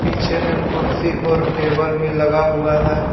पीछे में कुर्सी और टेबल भी लगा हुआ है।